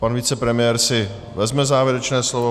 Pan vicepremiér si vezme závěrečné slovo.